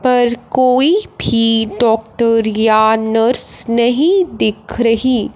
पर कोई भी डॉक्टर या नर्स नहीं दिख रही--